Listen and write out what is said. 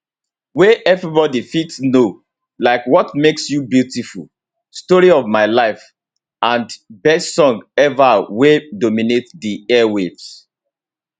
wey everybody fit know like what makes you beautiful story of my life and best song ever wey dominate di air waves